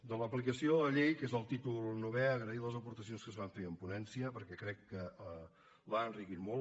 de l’aplicació de la llei que és el títol novè agrair les aportacions que es van fer en ponència perquè crec que l’han enriquit molt